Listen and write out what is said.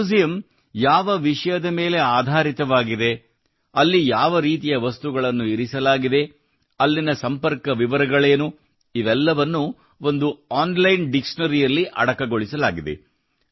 museum ಯಾವ ವಿಷಯದ ಮೇಲೆ ಆಧರಿತವಾಗಿದೆ ಅಲ್ಲಿ ಯಾವ ರೀತಿಯ ವಸ್ತುಗಳನ್ನು ಇರಿಸಲಾಗಿದೆ ಅಲ್ಲಿನ ಸಂಪರ್ಕ ವಿವರಗಳೇನು ಇವೆಲ್ಲವನ್ನೂ ಒಂದು ಆನ್ಲೈನ್ ಡೈರೆಕ್ಟರಿಯಲ್ಲಿ ಅಡಕಗೊಳಿಸಲಾಗಿದೆ